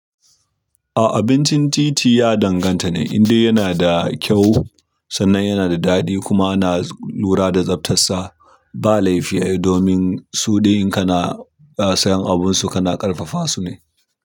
A'a abincin titi ya danganta ne indai yana da kyau sannan yanada daɗi, kuma ana lura da tsaftar sa. Ba laifi ai domin suɗi in kana sayan abunsu kana ƙarfafa su ne.